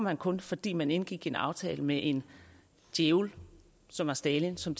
han kun fordi man indgik en aftale med en djævel som var stalin som